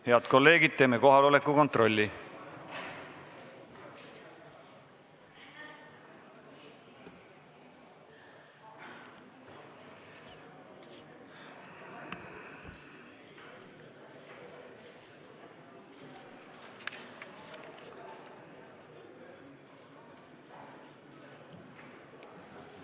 Head kolleegid, teeme kohaloleku kontrolli.